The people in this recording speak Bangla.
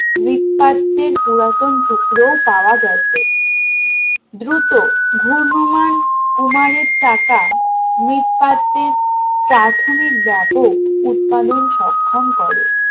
মৃৎপাত্রের পুরাতন টুকরোও পাওয়া গেছে দ্রুত ঘূর্ণমান কুমারের চাকা মৃৎপাত্রের প্রাথমিক ব্যাপক উৎপাদন সক্ষম করে